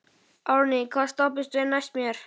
Árný, hvaða stoppistöð er næst mér?